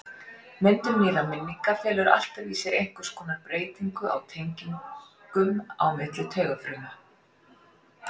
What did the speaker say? Myndun nýrra minninga felur alltaf í sér einhvers konar breytingu á tengingum á milli taugafruma.